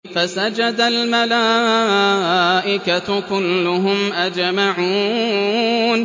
فَسَجَدَ الْمَلَائِكَةُ كُلُّهُمْ أَجْمَعُونَ